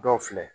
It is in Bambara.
Dɔw filɛ